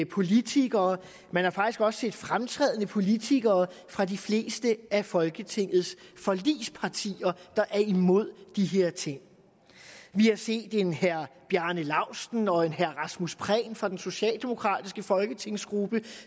politikere og man har faktisk også set fremtrædende politikere fra de fleste af folketingets forligspartier der er imod de her ting vi har set en herre bjarne laustsen og en herre rasmus prehn fra den socialdemokratiske folketingsgruppe